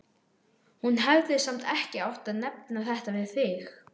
Hún hefði samt ekki átt að nefna þetta við þig.